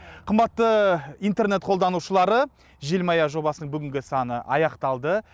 қымбатты интернет қолданушылары желмая жобасының бүгінгі саны аяқталды